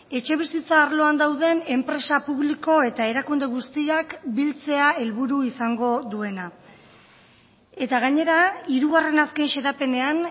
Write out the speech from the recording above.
etxebizitza arloan dauden enpresa publiko eta erakunde guztiak biltzea helburu izango duena eta gainera hirugarren azken xedapenean